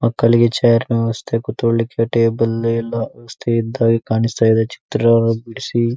ಮಕ್ಕಳಿಗೆ ಚೇರ್ ನ ವ್ಯವಸ್ಥೆ ಕುತ್ಕೊಲಿಕ್ಕೆ ಟೇಬಲ್ ಎಲ್ಲಾ ವ್ಯವಸ್ಥೆ ಇದ್ದ ಹಾಗೆ ಕಾಣಿಸ್ತಾ ಇದೆ. ಚಿತ್ರ ಬಿಡಿಸಿ --